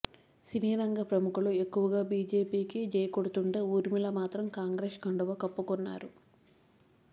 సినీ రంగ ప్రముఖులు ఎక్కువగా బీజేపీకి జై కొడుతుంటే ఊర్మిళ మాత్రం కాంగ్రెస్ కండువా కప్పుకున్నారు